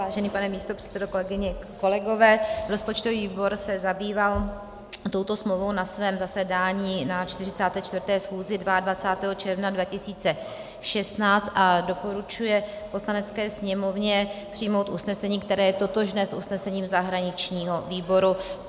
Vážený pane místopředsedo, kolegyně, kolegové, rozpočtový výbor se zabýval touto smlouvou na svém zasedání na 44. schůzi 22. června 2016 a doporučuje Poslanecké sněmovně přijmout usnesení, které je totožné s usnesením zahraničního výboru.